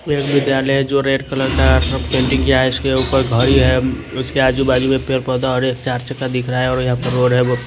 ये विद्यालय जो रेड कलर का पेंटिंग किया है इसके ऊपर घड़ी है इसके आजू बाजू में पेड़ पौधे और एक चार चक्का दिख रहा है और यहां पे रो रहे--